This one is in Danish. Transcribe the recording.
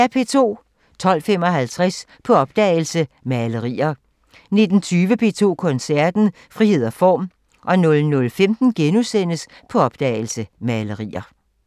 12:15: På opdagelse – Malerier 19:20: P2 Koncerten – Frihed og form 00:15: På opdagelse – Malerier *